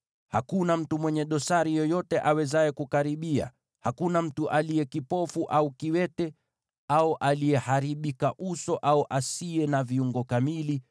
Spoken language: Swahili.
Hakuna mtu mwenye dosari yoyote awezaye kukaribia: hakuna mtu aliye kipofu au kiwete, au aliyeharibika uso au asiye na viungo kamili,